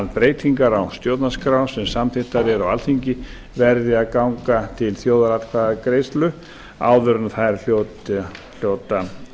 breytingar á stjórnarskrá sem samþykktar eru á alþingi verði að ganga til þjóðaratkvæðagreiðslu áður en þær hljóta